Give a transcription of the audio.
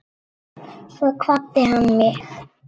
Svo kvaddi hann mig.